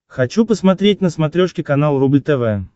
хочу посмотреть на смотрешке канал рубль тв